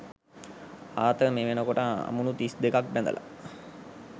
Arthur මේ වෙනකොට අමුණු තිස් දෙකක් බැඳලා